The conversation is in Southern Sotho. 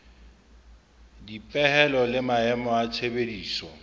dipehelo le maemo a tshebediso